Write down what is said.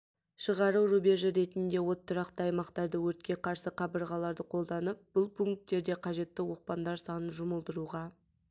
шығару рубежі ретінде от тұрақты аймақтарды өртке қарсы қабырғаларды қолданып бұл пункттерде қажетті оқпандар санын жұмылдыруға